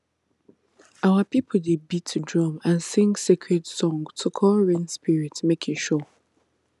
our people dey beat drum and sing sacred song to call rain spirit make e show